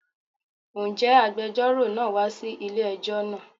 Ǹjẹ́ agbejọ́rò náà wa sí ilé ẹjọ́ náà?